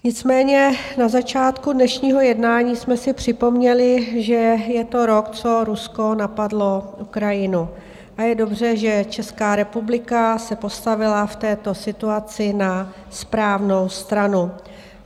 Nicméně na začátku dnešního jednání jsme si připomněli, že je to rok, co Rusko napadlo Ukrajinu, a je dobře, že Česká republika se postavila v této situaci na správnou stranu.